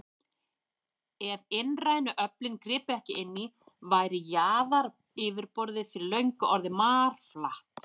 Ef innrænu öflin gripu ekki inn í, væri jarðaryfirborðið fyrir löngu orðið marflatt.